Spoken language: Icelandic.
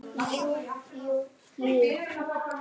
Jú jú, jú jú.